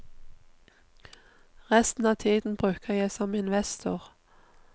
Resten av tiden bruker jeg som investor.